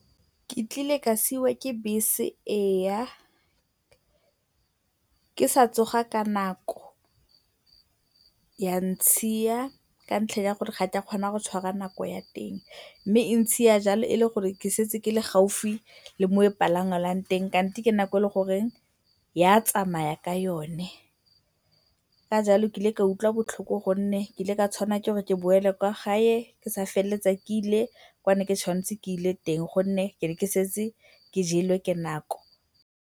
Ke kile ka siiwa ke bese eya, ke sa tsoga ka nako, ya ntshiya ka ntlha ya gore ga ke a kgona go tshwara nako ya teng mme e ntshia jalo e le gore ke setse ke le gaufi le mo e palamelwang teng kante ke nako e e leng goreng e a tsamaya ka yone. Ka jalo ke ile ka utlwa botlhoko gonne ke ile ka tshwanelwa ke gore ke boele kwa gae ke sa feleletsa ke ile kwa ke neng ke tshwanetse ke ile teng gonne ke ne ke setse ke jelwe ke nako.